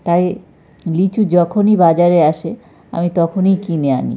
তাই লিচু যখনই বাজারে আসে আমি তখনই কিনে আনি।